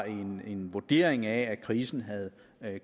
en vurdering af det krisen havde